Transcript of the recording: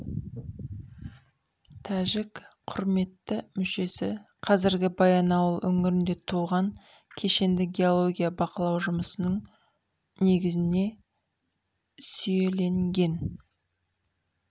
тәжік құрметті мүшесі қазіргі баянауыл өңірінде туған кешенді геология бақылау жұмысының негізіне сүйеленген